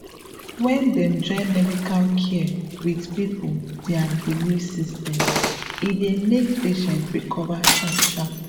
when dem join medical care with people dia belief system e dey make patient recover sharp sharp